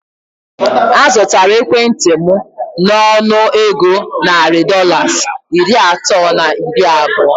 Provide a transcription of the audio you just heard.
A zụtara ekwentị m nọnụ égo narị Dọlas iri atọ na iri abụọ